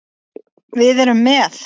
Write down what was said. Við erum með